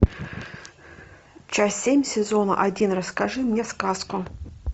часть семь сезона один расскажи мне сказку